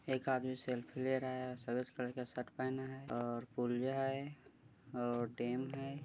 एक आदमी सेल्फ़ी ले रहा है सफेद कलर का शर्ट पहना है और पुलिया है और डेम है।